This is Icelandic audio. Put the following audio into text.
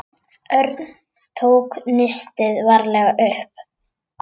Örn tók nistið varlega upp.